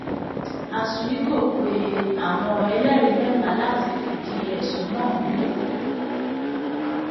azuigò pe àwọn ẹlẹ́rìí mẹ́ta láti fìdí ẹ̀sùn náà múlẹ̀